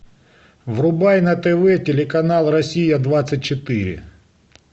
врубай на тв телеканал россия двадцать четыре